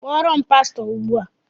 Kpọọrọ m pastọ Ugbu a!